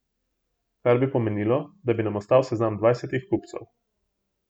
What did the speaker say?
Kar bi pomenilo, da bi nam ostal seznam dvajsetih kupcev.